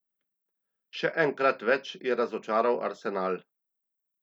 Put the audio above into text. Še enkrat več je razočaral Arsenal.